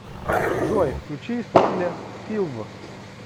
джой включи исполнителя филв